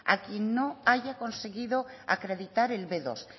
a quien no haya conseguido acreditar el be dos